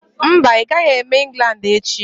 Mba, ị gaghị eme England echi.